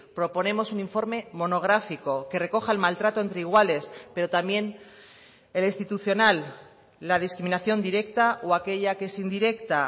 proponemos un informe monográfico que recoja el maltrato entre iguales pero también el institucional la discriminación directa o aquella que es indirecta